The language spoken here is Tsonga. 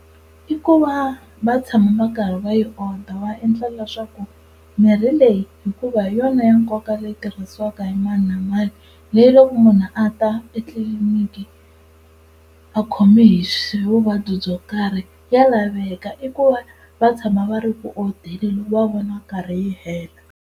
I ku va va tshama va karhi va yi order va endla leswaku mirhi leyi hikuva hi yona ya nkoka leyi tirhisiwaka hi mani na mani, leyi loko munhu a ta e etliliniki a khome hi vuvabyi byo karhi ya laveka i ku va va tshama va ri ku odeni loko va vona yi karhi yi hela.